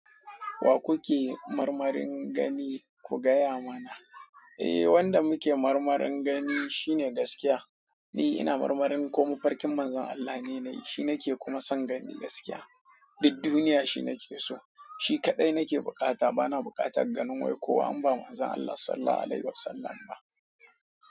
Wa kuke marmarin gani ku gaya mana? Eh wanda muke marmarin gani shine gaskiya. Ni ina marmarin ko mafarkin Manzon Allah ne nayi shi nake kuma san gani gaskiya. Duk duniya shi nake so, shi kadai nake bukata bana bukatan ganin wai kowa in ba manzan Allah sallalhu alaihi wasallam ba.